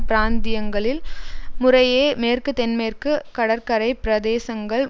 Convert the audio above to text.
பிராந்தியங்களில் முறையே மேற்கு தென்மேற்கு கடற்கரை பிரதேசங்கள்